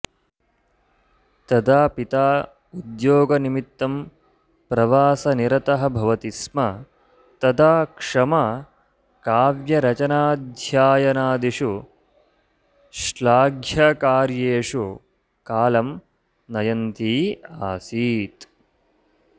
तदा पिता उद्योगनिमित्तं प्रवासनिरतः भवति स्म तदा क्षमा काव्यरचनाध्ययनादिषु श्लाघ्यकार्येषु कालं नयन्ती आसीत्